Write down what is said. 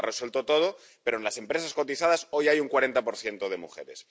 No lo ha resuelto todo, pero en las empresas cotizadas hoy hay un 40 de mujeres.